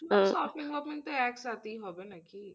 Shoping বপিং তো একসাথেই হবে নাকি?